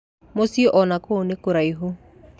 Mũciĩ onakuo nĩ kũraihu.